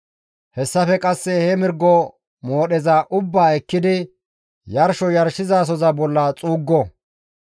Hessafe qasse he mirgo moodheza ubbaa ekkidi yarsho yarshizasoza bolla xuuggo.